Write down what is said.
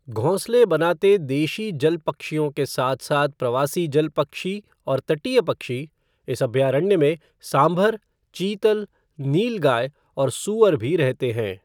घोंसले बनाते देशी जल पक्षियों के साथ साथ प्रवासी जल पक्षी और तटीय पक्षी, इस अभयारण्य में सांभर, चीतल, नीलगाय और सूअर भी रहते हैं।